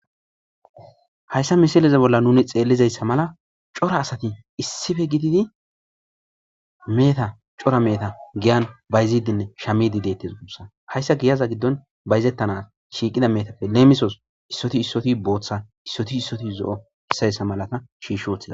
hayssa misileze bolla nuni xeellizayssa mala cora asati issife gididi meeta cora meeta giyan bayzidinne shamidi deettes guussa hayssa giyaza giddon bayzettana shiiqida meetappe leemisos issoti issoti booththa issoti issoti zo7o issayssa malata shiishothda